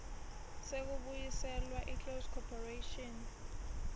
sekubuyiselwa kweclose corporation